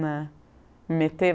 né. Me meter?